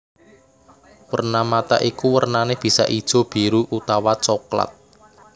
Werna mata iku wernané bisa ijo biru utawa coklat